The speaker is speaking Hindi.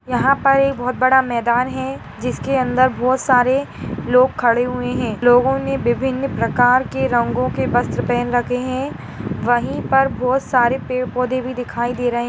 यहाँ एक बहुत बड़ा मैदान है जिसके अंदर बहुत सारे लोग खड़े हुए है लोगों ने विभिन प्रकार के रंगो के वस्त्र पहने रखे है वही पर बहुत सारे पड़े पौधे भी दिखाई दे रहे--